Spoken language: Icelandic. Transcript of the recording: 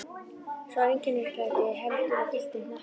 Sá einkennisklæddi heldur á gylltum hnappi.